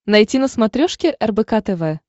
найти на смотрешке рбк тв